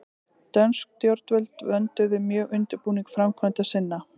Dönsk stjórnvöld vönduðu mjög undirbúning framkvæmda sinna.